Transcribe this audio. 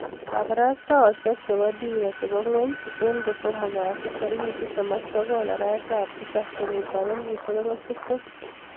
kabarstaoshek ab dira ya dunia eng kosomok kasi tarik 29/07/2020